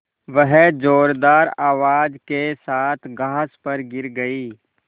वह ज़ोरदार आवाज़ के साथ घास पर गिर गई